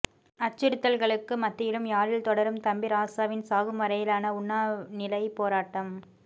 அச்சுறுத்தல்களுக்கு மத்தியிலும் யாழில் தொடரும் தம்பிராசாவின் சாகும் வரையிலான உண்ணாநிலைப் போராட்டம்